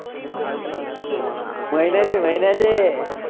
महिन्याचे महिन्याचे